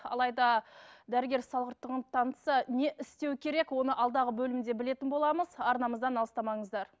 алайда дәрігер салғырттығын танытса не істеу керек оны алдағы бөлімде білетін боламыз арнамыздан алыстамаңыздар